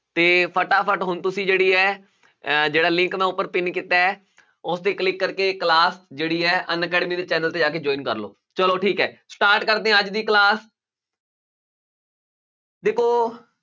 ਤੇ ਫਟਾਫਟ ਹੁਣ ਤੁਸੀਂ ਜਿਹੜੀ ਹੈ ਅਹ ਜਿਹੜਾ link ਮੈਂ ਉੱਪਰ pin ਕੀਤਾ ਹੈ, ਉਸ ਤੇ click ਕਰਕੇ class ਜਿਹੜੀ ਹੈ ਅਨਅਕੈਡਮੀ ਦੇ channel ਤੇ ਜਾ ਕੇ join ਕਰ ਲਓ ਚਲੋ ਠੀਕ ਹੈ start ਕਰਦੇ ਹਾਂ ਅੱਜ ਦੀ class ਦੇਖੋ